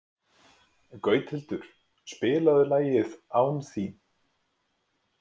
Gauthildur, spilaðu lagið „Án þín“.